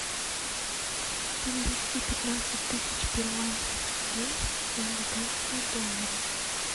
перевести пятнадцать тысяч перуанских солей в американские доллары